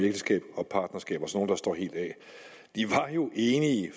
ægteskab og partnerskab og så der står helt af de var enige